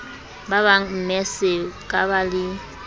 ba bangmme se kaba le